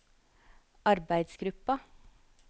arbeidsgruppa